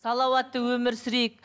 салауатты өмір сүрейік